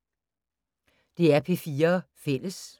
DR P4 Fælles